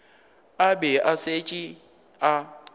a be a šetše a